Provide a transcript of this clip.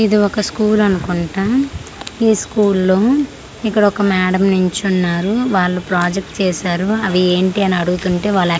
ఇది ఒక స్కూల్ అనుకుంటా ఈ స్కూల్లో ఇక్కడొక మేడమ్ నించున్నారు వాళ్ళు ప్రాజెక్ట్ చేసారు అవి ఏంటి అని అడుగుతుంటే వాళ్ళక్--